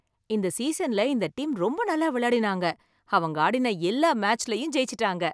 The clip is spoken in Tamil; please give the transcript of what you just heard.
இந்த சீசன்ல இந்த டீம் ரொம்ப நல்லா விளையாடினாங்க, அவங்க ஆடின எல்லா மேட்ச்லயும் ஜெயிச்சுட்டாங்க.